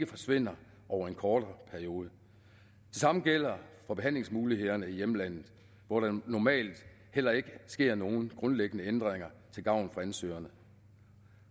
forsvinder over en kortere periode det samme gælder for behandlingsmulighederne i hjemlandet hvor der normalt heller ikke sker nogen grundlæggende ændringer til gavn for ansøgerne